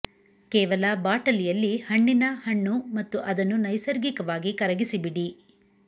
ಕೇವಲ ಬಾಟಲಿಯಲ್ಲಿ ಹಣ್ಣಿನ ಹಣ್ಣು ಮತ್ತು ಅದನ್ನು ನೈಸರ್ಗಿಕವಾಗಿ ಕರಗಿಸಿ ಬಿಡಿ